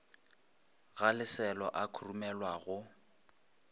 ga leselo a khurumelwa go